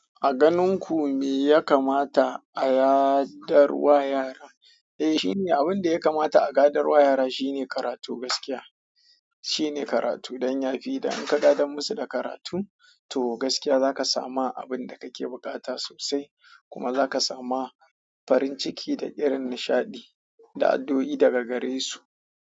A ganin ku me ya kamata a yaɗar wa yara? Eh, shi ne abin da ya kamata a gadar wa yara shi ne karatu gaskiya. Shi ne karatu don ya fi dan ka gadar musu da karatu to gaskiya za ka samu abin da kake buƙata sosai kuma za ka sama farin ciki da irin nishaɗi da addu'o'i daga gare su.